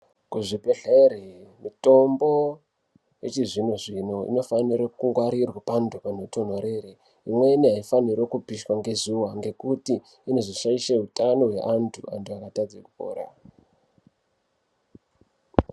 Kuzvibhedhlera mitombo yechizvino zvino inofanire kungwarirwa pantu panotonhorera. Imweni aifaniri kupishwa ngezuwa ngekuti inozoshaisha utano hweantu, antu akazotadza kupora.